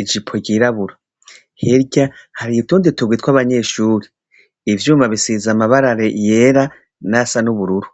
ijipo ry'irabura. Hirya har'utubdi tugwi tw'abanyeshure. Ivyuma bisize amabara ryera nayasa n'ubururu.